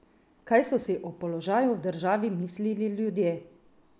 Kaj so si o položaju v državi mislili ljudje?